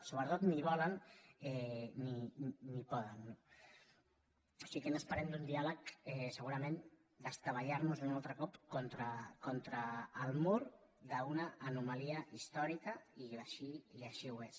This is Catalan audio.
sobretot ni volen ni poden no o sigui què n’esperem d’un diàleg segurament d’estavellarnos un altre cop contra el mur d’una anomalia històrica i així ho és